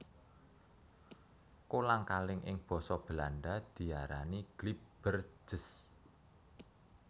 Kolang kaling ing basa Belanda diarani glibbertjes